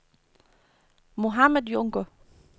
Mohammad Junker